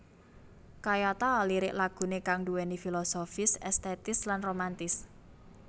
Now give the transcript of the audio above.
Kayata lirik laguné kang nduwèni filosofis estetis lan romantis